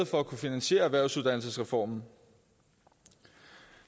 for at kunne finansiere erhvervsuddannelsesreformen